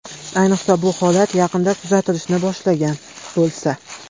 Ayniqsa, bu holat yaqinda kuzatilishni boshlagan bo‘lsa.